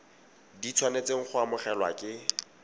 di tshwanetseng go amogelwa ke